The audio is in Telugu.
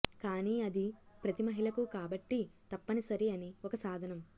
కానీ అది ప్రతి మహిళకు కాబట్టి తప్పనిసరి అని ఒక సాధనం